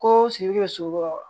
Ko sigi bɛ so kɔrɔ